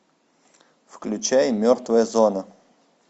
включай мертвая зона